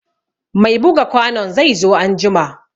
Mai buga kwanon zai zo an jima